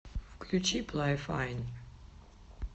включи плай файн